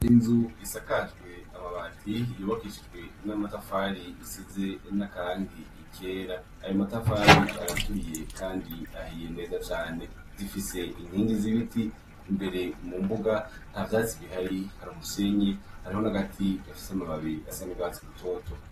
Inzu isakajwe amabati yubakishijwe n' amatafari zisizwe n' akarangi kera. Ayo matafari araturiye kandi ahiye neza cane . Ifise inkingi z' ibiti, imbere mu mbuga ntavyatsi bihari hari umusenyi , hariho n' agati gafise amababi asa n' urwatsi rutoto.